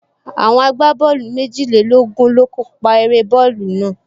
Àwọn agbábọ́ọ̀lù méjìlélógún ló kó pa eré bọ́ọ̀lù náà